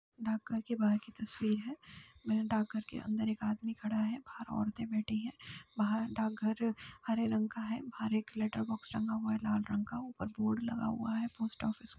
डाकघर के बाहर की तस्वीर है। डाकघर के अंदर एक आदमी खड़ा है। बाहर औरतें बैठी हैं। बाहर डाक घर हरे रंग का है। बाहर एक लेटर बॉक्स टंगा हुआ है लाल रंग का। ऊपर बोर्ड लगा हुआ है। Post office --